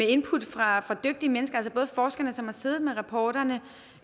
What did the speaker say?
input fra dygtige mennesker altså forskerne som har siddet med rapporterne